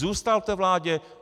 Zůstal v té vládě.